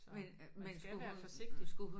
Så man skal være forsigtig